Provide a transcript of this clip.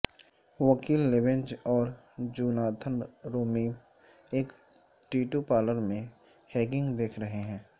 وکیل لیوینج اور جوناتھن رومیم ایک ٹیٹو پارلر میں ہگنگ دیکھ رہے ہیں